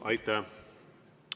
Aitäh!